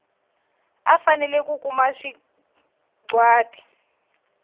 u fanele ku kuma sagwati